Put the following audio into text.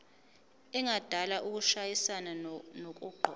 engadala ukushayisana nokuqokwa